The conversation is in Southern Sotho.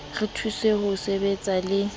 re thuse ho sebetsana le